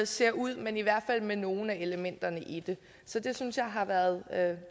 ser ud men i hvert fald med nogle af elementerne i det så det synes jeg har været